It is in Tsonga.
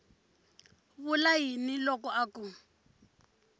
vula yini loko a ku